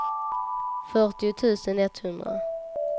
fyrtio tusen etthundra